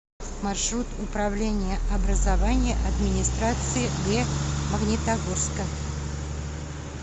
маршрут управление образования администрации г магнитогорска